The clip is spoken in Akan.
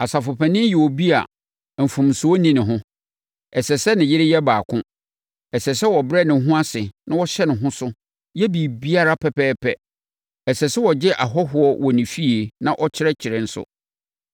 Asafopanin yɛ obi a mfomsoɔ nni ne ho. Ɛsɛ sɛ ne yere yɛ baako. Ɛsɛ sɛ ɔbrɛ ne ho ase na ɔhyɛ ne ho so yɛ ne biribiara pɛpɛɛpɛ. Ɛsɛ sɛ ɔgye ahɔhoɔ wɔ ne fie na ɔkyerɛkyerɛ nso.